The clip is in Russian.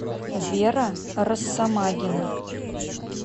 вера россомагина